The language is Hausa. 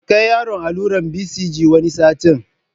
Ki kai yaron allurar BCG wani satin